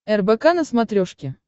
рбк на смотрешке